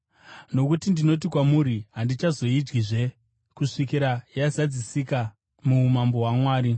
Nokuti ndinoti kwamuri, handichazoidyizve kusvikira yazadzisika muumambo hwaMwari.”